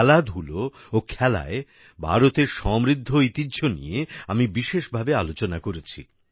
খেলাধুলা ও খেলায় ভারতের সমৃদ্ধ ঐতিহ্য নিয়ে আমি বিশেষভাবে আলোচনা করেছি